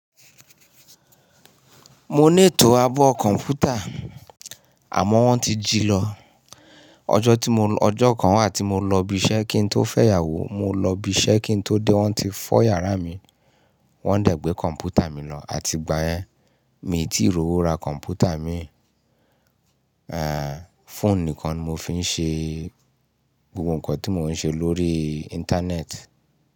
Mo ní ètò àbọ̀ kọ̀ǹpútà àmọ́ wọ́n ti jì lọ ọjọ́ Ọjọ́ kan wà tí mo lọ ibi iṣẹ́ kí n tó fẹ́ yàwó, mo lọ ibi iṣẹ́ kí n tó dé wọ́n ti fọ́ yàrá mi, wọ́n dàgbé kọ̀ǹpútà mi lọ àti ìgbà ẹ mi ò tí ì rí owó ra kọ̀ǹpútà mi. Eh, fóònù nìkan mo fi ń ṣe gbogbo ǹkan tí mo ń ṣe lórí íńtánẹ́ẹ̀tì.